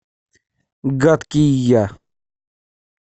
гадкий я